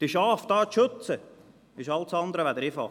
Die Schafe dort zu schützen ist alles andere als einfach.